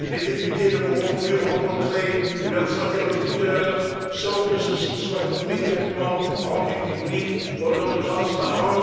les députés ne pourront plus rencontrer leurs interlocuteurs sans que ceci soit immédiatement rendu public au nom de la transparence.